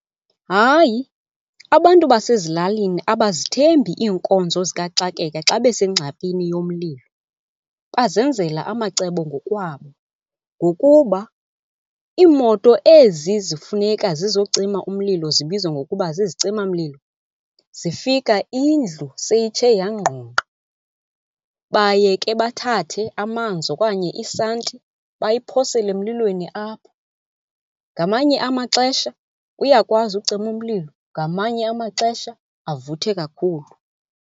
Hayi, abantu basezilalini abazithembi iinkonzo zikaxakeka xa besengxakini yomlilo, bazenzela amacebo ngokwabo. Ngokuba iimoto ezi zifuneka zizocima umlilo zibizwa ngokuba zizicimamlilo zifika indlu seyitshe yangqongqa. Baye ke bathathe amanzi okanye isanti bayiphosele emlilweni apho. Ngamanye amaxesha uyakwazi ucima umlilo, ngamanye amaxesha avuthe kakhulu.